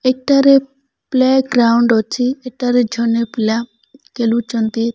ଏଠାରେ ପ୍ଲେଗ୍ରାଉଣ୍ଡ ଅଛି ଏଠାରେ ଝନେ ପିଲା କେଲୁଚନ୍ତି ।